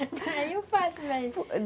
Aí eu faço mesmo.